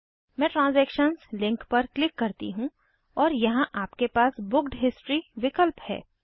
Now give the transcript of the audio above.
मैं transactions link पर click करती हूँ और यहाँ आपके पास बुक्ड हिस्ट्री विकल्प है